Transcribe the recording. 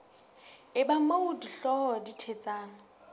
eba moo dihlooho di thetsang